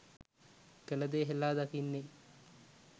කළ දේ හෙළා දකින්නේ.